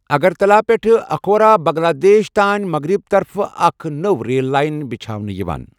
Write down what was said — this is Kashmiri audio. آگراتَلہ پٮ۪ٹھٕ اَکھورا بنگلہ دیشَ تانہِ مغرِب طرفہٕ اَکھ نٔو ریل لاین بِچھاونہٕ یوان ۔